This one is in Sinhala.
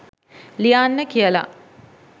ලියන්න කියලා.